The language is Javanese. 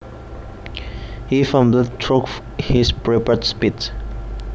He fumbled through his prepared speech